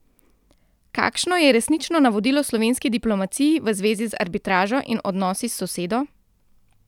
Kakšno je resnično navodilo slovenski diplomaciji v zvezi z arbitražo in odnosi s sosedo?